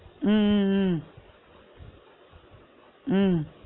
உம் உம் உம் உம்